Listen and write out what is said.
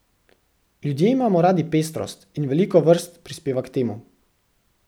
Ljudje imamo radi pestrost, in veliko vrst prispeva k temu.